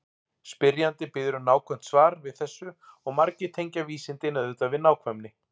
Spyrjandi biður um nákvæmt svar við þessu og margir tengja vísindin auðvitað við nákvæmni.